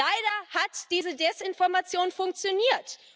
Leider hat diese Desinformation funktioniert.